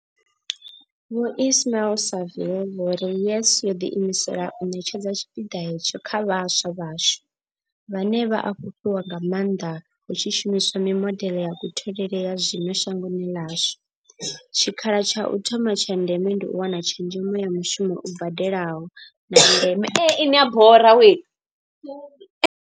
Vho Ismail-Saville vho ri, YES yo ḓiimisela u ṋetshedza tshipiḓa hetsho kha vhaswa vhashu, vhane vha a fhufhiwa nga maanḓa hu tshi shumiswa mimodeḽe ya kutholele ya zwino shangoni ḽashu, tshikha la tsha u thoma tsha ndeme ndi u wana tshezhemo ya mushumo u badelaho, na ndeme.